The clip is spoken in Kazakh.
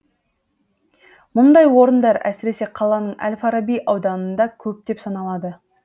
мұндай орындар әсіресе қаланың әл фараби ауданында көптеп саналады